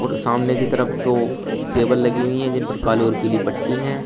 और सामने की तरफ दो टेबल लगी हुई है जिनपर काली और पीली पट्टी है।